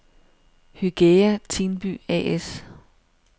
Hygæa-Tinby A/S